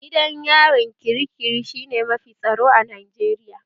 Gidan yarin kirikiri shi ne mafi tsaro a Najeriya